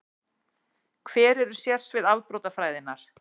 Hver eru sérsvið afbrotafræðinnar?